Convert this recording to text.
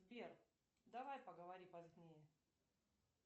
сбер давай поговори позднее